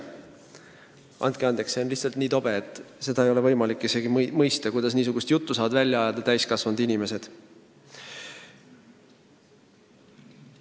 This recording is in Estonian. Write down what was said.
Andke andeks, see on lihtsalt nii tobe, et seda ei ole võimalik mõista – kuidas niisugust juttu saavad suust välja ajada täiskasvanud inimesed!